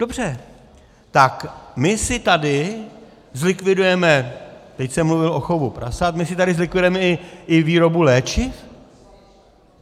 Dobře, tak my si tady zlikvidujeme - teď jsem mluvil o chovu prasat - my si tady zlikvidujeme i výrobu léčiv?